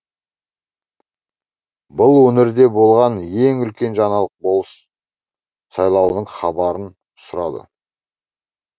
бұл өңірде болған ең үлкен жаңалық болыс сайлауының хабарын сұрады